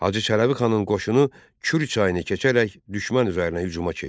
Hacı Çələbi xanın qoşunu Kür çayını keçərək düşmən üzərinə hücuma keçdi.